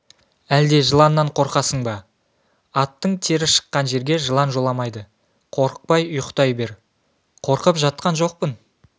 әлде жыланнан қорқасың ба аттың тері шыққан жерге жылан жоламайды қорықпай ұйықтай бер қорқып жатқан жоқпын